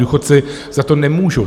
Důchodci za to nemůžou.